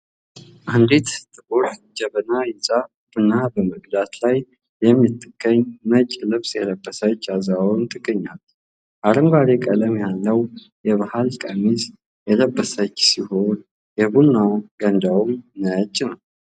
አንዲት ጥቁር ጀበና ይዛ ቡና በመቅዳት ላይ የምትገኝ ነጭ ልብስ የለበሰች አዛውንት ገኛለች አረንጓዴ ቀለም ያለው የባህል ከሚስ የለበሰች ሲሆን የቡና ገንዳውም ነጭ ነው ።